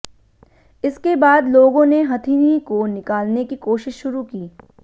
इसके बाद लोगों ने हथिनी को निकालने की कोशिश शुरू की